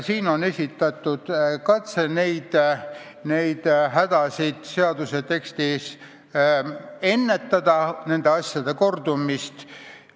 Eelnõus on tehtud katse neid puudujääke seaduse tekstis kõrvaldada, et nende asjade kordumist ära hoida.